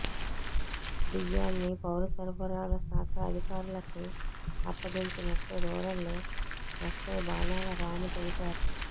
బియ్యాన్ని పౌరసరఫరాల శాఖ అధికారులకు అప్పగించినట్లు రూరల్ ఎస్ఐ బాణాల రాము తెలిపారు